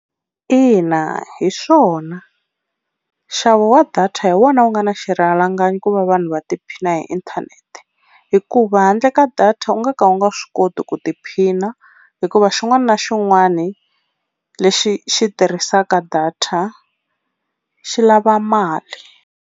Ina hi swona nxavo wa data hi wona wu nga na xirhalanganyi ku va vanhu va tiphina hi inthanete, hikuva handle ka data u nga ka u nga swi koti ku tiphina hikuva xin'wana na xin'wana lexi xi tirhisaka data xi lava mali.